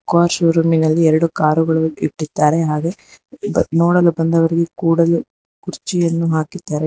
Car showroom ನಲ್ಲಿ ಎರಡು car ಗಳು ಇಟ್ಟಿದ್ದಾರೆ ಹಾಗೆ ನೋಡಲು ಬಂದವರಿಗೆ ಕೂಡಲು ಕುರ್ಚಿಯನ್ನು ಹಾಕಿದ್ದಾರೆ.